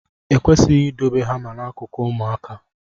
E kwesịghị idobe hama n'akụkụ ụmụaka.